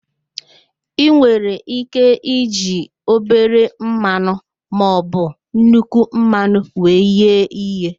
I nwere ike iji obere mmanụ maọbụ nnukwu mmanụ wee ghee ihe